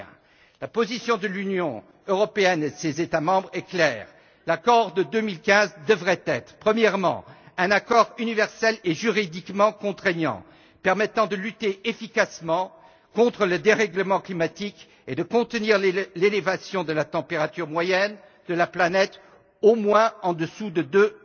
21. La position de l'Union européenne et de ses États membres est claire. L'accord de 2015 devrait être, premièrement, un accord universel et juridiquement contraignant permettant de lutter efficacement contre le dérèglement climatique et de contenir l'élévation de la température moyenne de la planète, au moins en dessous de deux